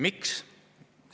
Miks?